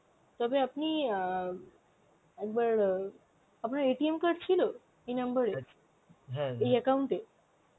তবে আপনি অ্যাঁ একবার, আপনার card ছিল, এই number এ এই account এ?